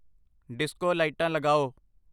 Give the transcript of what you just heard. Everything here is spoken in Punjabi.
ਡਿਸਕੋ ਲਾਈਟਾਂ ਲਗਾਓ